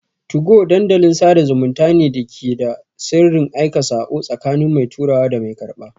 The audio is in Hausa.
2go Dandalin sada zumunta ne da yake da sirrin aika sako, tsakanin mai turawa da mai karɓa.